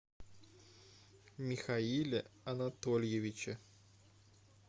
михаиле анатольевиче